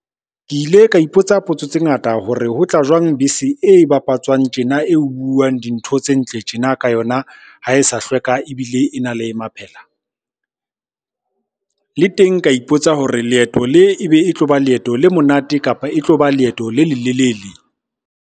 Ke ile ka ipotsa potso tse ngata hore ho tla jwang bese e bapatswang tjena, e buang dintho tse ntle tjena ka yona ha e sa hlweka ebile e na le maphela. Le teng ka ipotsa hore leeto le ebe e tlo ba leeto le monate, kapa e tlo ba leeto le lelelele.